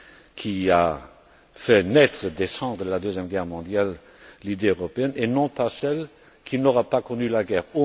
qui a fait naître des cendres de la Deuxième Guerre mondiale l'idée européenne mais pas non plus celle qui n'aura pas connu la guerre.